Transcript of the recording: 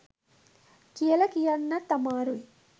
කියල කියන්නත් අමාරුයි.